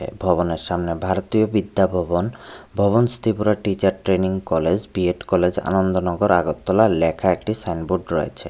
ভবনের সামনে Bharatiya Vidya Bhavan Bhavans Tripura teacher training college B Ed college Anandanagar Agartala লেখা একটি সাইনবোর্ড রয়েছে।